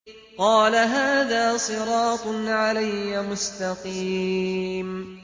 قَالَ هَٰذَا صِرَاطٌ عَلَيَّ مُسْتَقِيمٌ